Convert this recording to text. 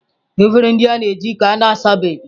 Efere ndị anyị ga-eji ka na-asabeghị.